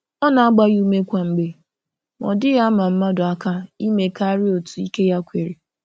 Ọ na-agba ya ume kwa mgbe, ma ọ dịghị ama mmadụ aka ime karịa otu ike ya kwere.